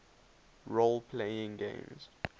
role playing games